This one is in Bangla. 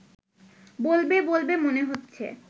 বলবে বলবে মনে হচ্ছে